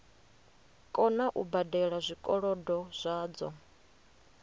kona u badela zwikolodo zwadzo